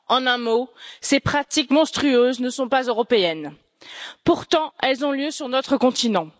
En un mot, ces pratiques monstrueuses ne sont pas européennes, et pourtant elles ont lieu sur notre continent.